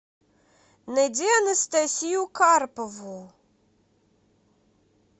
найди анастасию карпову